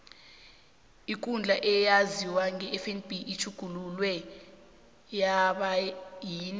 ikundla eyaziwa ngefnb itjhugululwe yaba yini